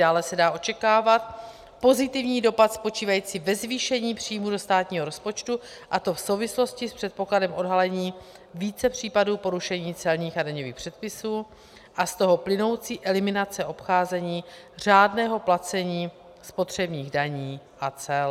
Dále se dá očekávat pozitivní dopad spočívající ve zvýšení příjmů do státního rozpočtu, a to v souvislosti s předpokladem odhalení více případů porušení celních a daňových předpisů a z toho plynoucí eliminace obcházení řádného placení spotřebních daní a cel.